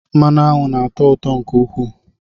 Mmanụ aṅụ na atọ ụtọ nke ukwuu